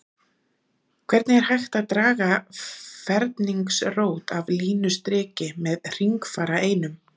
hvernig er hægt að draga ferningsrót af línustriki með hringfara einum